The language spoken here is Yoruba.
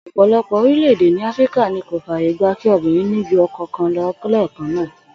Ò̩pò̩lo̩pò̩ orílè̩-èdè ní Áfíríkà ni kò fàyè gba kí obìnrin ní ju o̩ko̩ kan lé̩è̩kan náà